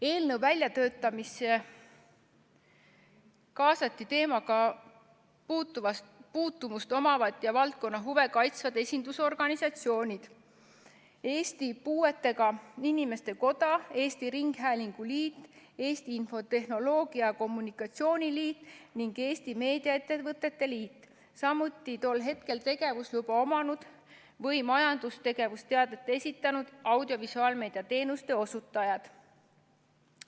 Eelnõu väljatöötamisse kaasati teemaga puutumust omavad ja valdkonna huve kaitsvad esindusorganisatsioonid: Eesti Puuetega Inimeste Koda, Eesti Ringhäälingute Liit, Eesti Infotehnoloogia ja Telekommunikatsiooni Liit ning Eesti Meediaettevõtete Liit, samuti tol hetkel tegevusluba omanud või majandustegevuse teate esitanud audiovisuaalmeedia teenuste osutajad.